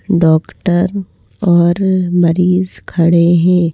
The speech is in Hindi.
डॉक्टर और मरीज़ खड़े हैं।